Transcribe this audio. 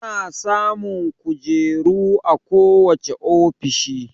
Ana samun kojeru a ko wacce ofishi